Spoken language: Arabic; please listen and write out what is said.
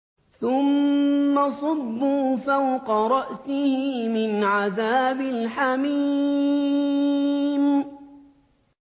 ثُمَّ صُبُّوا فَوْقَ رَأْسِهِ مِنْ عَذَابِ الْحَمِيمِ